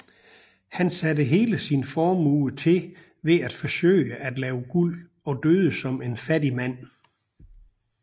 Han satte hele sin formue til ved at forsøge at lave guld og døde som en fattig mand